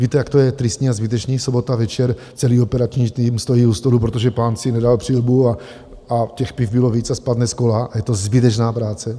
Víte, jak to je tristní a zbytečný, sobota večer, celý operativní tým stojí u stolu, protože pán si nedal přilbu a těch piv bylo víc a spadne z kola a je to zbytečná práce.